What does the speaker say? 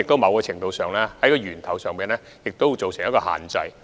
某程度上，這亦可算是從源頭作出限制。